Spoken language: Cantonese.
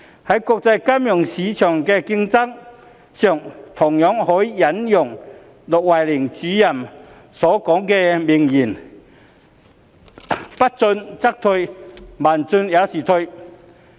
在國際金融市場的競爭上，同樣可以引用駱惠寧主任所說的名言："不進則退，慢進也是退。